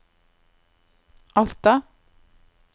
Alta